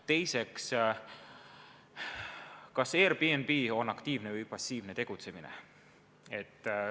Teiseks, kas Airbnb on aktiivne või passiivne tegutsemine?